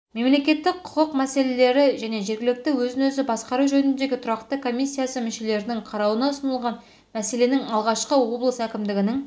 мемлекеттік-құқық мәселелері және жергілікті өзін-өзі басқару жөніндегі тұрақты комиссиясы мүшелерінің қарауына ұсынылған мәселенің алғашқысы облыс әкімдігінің